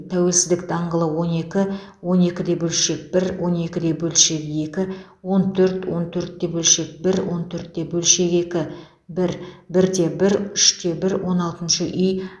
тәуелсіздік даңғылы он екі он екі де бөлшек бір он екі де бөлшек екі он төрт он төрт те бөлшек бір он төрт те бөлшек екі бір бір де бір үш те бір он алтыншы үй